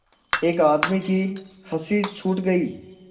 एक आदमी की हँसी छूट गई